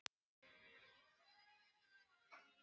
Ég veit það ekki sagði hún.